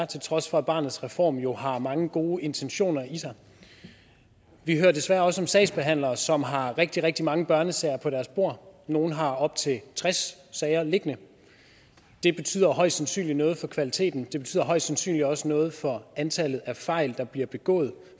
til trods for at barnets reform jo har mange gode intentioner i sig vi hører desværre også om sagsbehandlere som har rigtig rigtig mange børnesager på deres bord nogle har op til tres sager liggende det betyder højst sandsynligt noget for kvaliteten og højst sandsynligt også noget for antallet af fejl der bliver begået